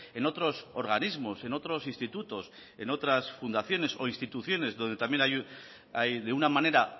en otros organismos en otros institutos en otras fundaciones o instituciones donde también hay de una manera